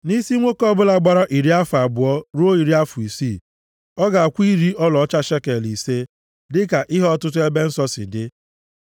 nʼisi nwoke ọbụla gbara iri afọ abụọ ruo iri afọ isii, ọ ga-akwụ iri ọlaọcha shekel ise, dịka ihe ọtụtụ ebe nsọ si dị.